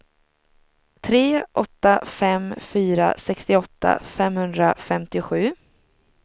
tre åtta fem fyra sextioåtta femhundrafemtiosju